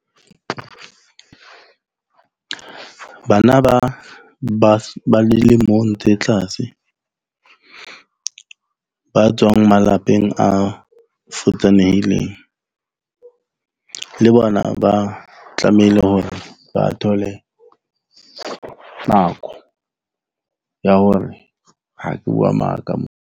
Bana ba dilemong tse tlase ba tswang malapeng a futsanehileng le bona ba tlamehile hore ba thole nako ya hore, ke bua maka mo.